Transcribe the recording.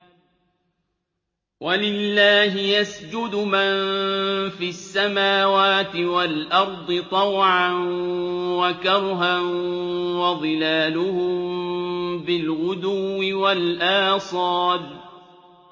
وَلِلَّهِ يَسْجُدُ مَن فِي السَّمَاوَاتِ وَالْأَرْضِ طَوْعًا وَكَرْهًا وَظِلَالُهُم بِالْغُدُوِّ وَالْآصَالِ ۩